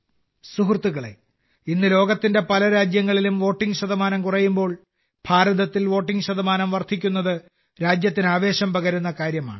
സുഹൃത്തുക്കളേ ഇന്ന് ലോകത്തെ പല രാജ്യങ്ങളിലും വോട്ടിംഗ് ശതമാനം കുറയുമ്പോൾ ഭാരതത്തിൽ വോട്ടിംഗ് ശതമാനം വർദ്ധിക്കുന്നത് രാജ്യത്തിന് ആവേശം പകരുന്ന കാര്യമാണ്